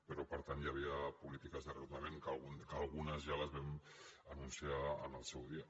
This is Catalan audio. però per tant hi havia polítiques de reordenament que algunes ja les vam anunciar en el seu dia